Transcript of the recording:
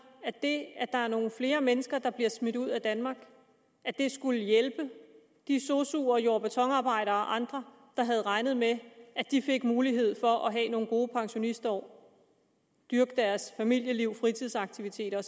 at det at der er nogle flere mennesker der bliver smidt ud af danmark skulle hjælpe de sosuer og jord og betonarbejdere og andre der havde regnet med at de fik mulighed for at have nogle gode pensionistår dyrke deres familieliv fritidsaktiviteter